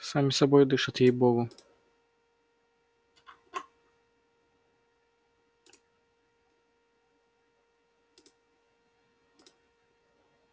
сами собой дышат ей богу